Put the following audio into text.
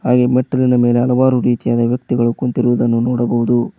ಈ ಮೆಟ್ಟಿಲಿನ ಮೇಲೆ ಹಲವಾರು ರೀತಿಯಾದ ವ್ಯಕ್ತಿಗಳು ಕುಂತಿರುವುದನ್ನು ನೋಡಬಹುದು.